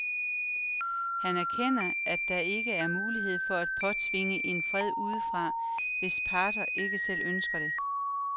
Han erkender, at der ikke er mulighed for at påtvinge en fred udefra, hvis parterne ikke selv ønsker det.